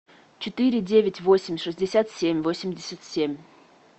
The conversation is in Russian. четыре девять восемь шестьдесят семь восемьдесят семь